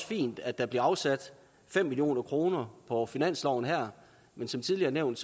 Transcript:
fint at der bliver afsat fem million kroner på finansloven her men som tidligere nævnt